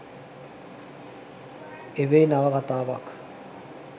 එවැනි නවකතාවක්